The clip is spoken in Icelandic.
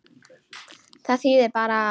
Það þýðir bara.